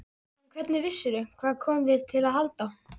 En hvernig vissirðu. hvað kom þér til að halda?